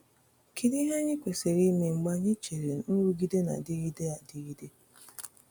Kedu ihe anyị kwesịrị ime mgbe anyị chere nrụgide na-adịgide adịgide?